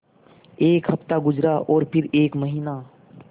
एक हफ़्ता गुज़रा और फिर एक महीना